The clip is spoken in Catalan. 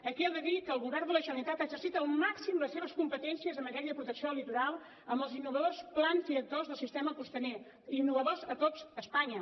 aquí he de dir que el govern de la generalitat ha exercit al màxim les seves competències en matèria de protecció del litoral amb els innovadors plans directors del sistema costaner innovadors a tot espanya